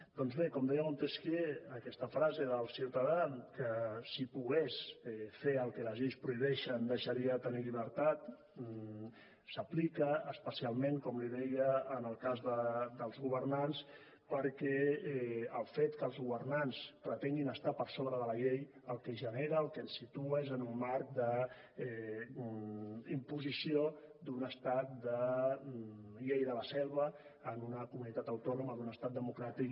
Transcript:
doncs bé com deia montesquiu aquesta frase del ciutadà que si pogués fer el que les lleis prohibeixen deixaria de tenir llibertat s’aplica especialment com li deia en el cas dels governants perquè el fet que els governants pretenguin estar per sobre de la llei el que genera en el que ens situa és en un marc d’imposició d’un estat de llei de la selva en una comunitat autònoma d’un estat democràtic